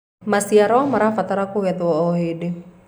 maciaro marabatara kugethwo o hĩndĩ